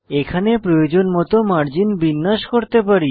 এখানে প্রয়োজন মত মার্জিন বিন্যাস করতে পারি